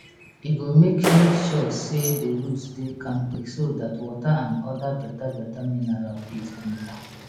e go make make sure say the roots dey kampe so dat water and other betabeta mineral fit enta